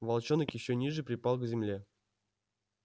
волчонок ещё ниже припал к земле